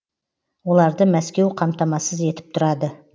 оларды мәскеу қамтамасыз етіп тұрады